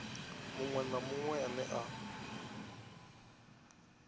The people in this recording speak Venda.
muṅwe na muṅwe ane a